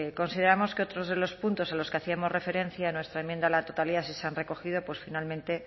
consideramos que otros de los puntos a los que hacíamos referencia en nuestra enmienda a la totalidad sí se han recogido pues finalmente